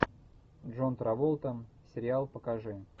джон траволта сериал покажи